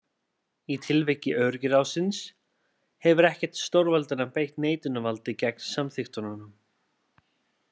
Í tilviki öryggisráðsins hefur ekkert stórveldanna beitt neitunarvaldi gegn samþykktunum.